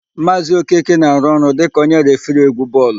Maazị Okeke na-arụ ọrụ dịka onye refiri égwú bọọlụ.